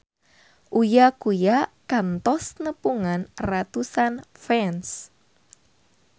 Uya Kuya kantos nepungan ratusan fans